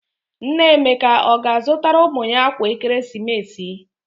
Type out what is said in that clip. Nna Emeka ọ ga-azụtara ụmụ ya akwa ekeresimesi?